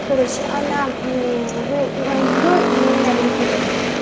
короче она вы моё и меня перепутали